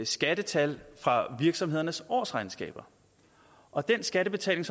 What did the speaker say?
skattetal fra virksomhedernes årsregnskaber og den skattebetaling